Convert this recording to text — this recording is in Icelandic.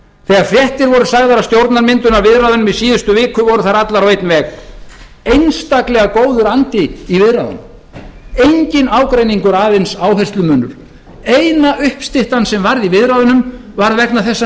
þegar fréttir voru sagðar af stjórnarmyndunarviðræðunum í síðustu viku voru þær allar á einn veg einstaklega góður andi í viðræðunum enginn ágreiningur aðeins áherslumunur eina uppstyttan sem varð í viðræðunum var vegna þess að